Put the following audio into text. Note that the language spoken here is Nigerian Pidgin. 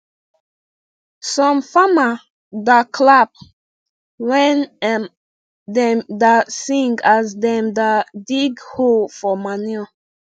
some farma da clapp when um dem da sing as dem da dig whole for manure